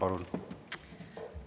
Palun!